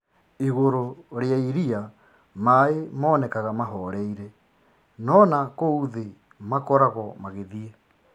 Igũrũ rĩa iriia maĩ monekanaga mahoreire, nona kũu thĩ makoragwa magĩthiĩ